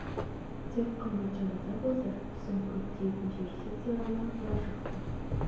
тек қымбат жаназа болса түсім көп тиетін жер сезсе ғана бұлар жақсы